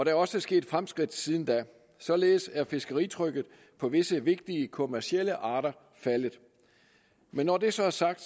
er også sket fremskridt siden da således er fiskeritrykket på visse vigtige kommercielle arter faldet når det så er sagt